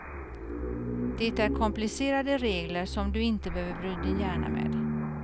Det är komplicerade regler som du inte behöver bry din hjärna med.